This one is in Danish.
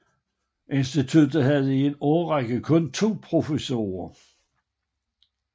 Instituttet havde i en årrække kun to professorer